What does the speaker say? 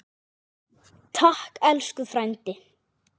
Takk elsku frændi.